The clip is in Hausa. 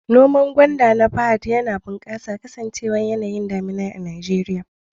Noman gwanda na Fahad yana bunƙasa kasancewar yanayin damina na Najeriya.